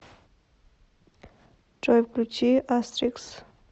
джой включи астрикс